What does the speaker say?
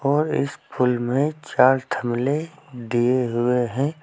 और इस फूल में चार थमले दिए हुए हैं।